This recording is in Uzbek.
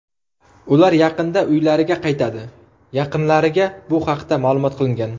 Ular yaqinda uylariga qaytadi, yaqinlariga bu haqda ma’lum qilingan.